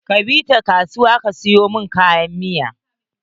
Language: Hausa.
Ka bi ta kasuwa ka sayo mun kayan miya.